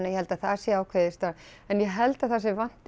ég held að það sé ákveðið strax en ég held að það sem vanti